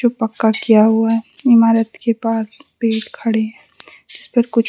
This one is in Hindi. पक्का किया हुआ है इमारत के पास पेड़ खड़े हैं इस पर कुछ --